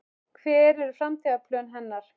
Hver eru framtíðarplön hennar?